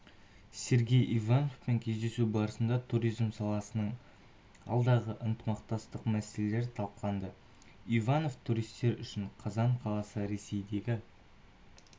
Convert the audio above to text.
сергей ивановпен кездесу барысында туризм саласының алдағы ынтымақтастық мәселелері талқыланды иванов туристер үшін қазан қаласы ресейдегі